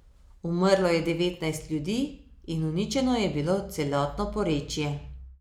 Umrlo je devetnajst ljudi in uničeno je bilo celotno porečje.